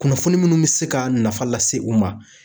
Kunnafoni minnu bɛ se ka nafa lase u ma